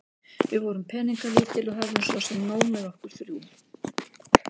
Við vorum peningalítil og höfðum svo sem nóg með okkur þrjú.